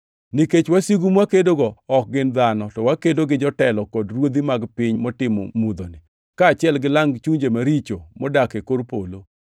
Nikech wasigu mwakedogo ok gin dhano, to wakedo gi jotelo, kod ruodhi mag piny motimo mudhoni, kaachiel gi lang chuny maricho modak e kor polo.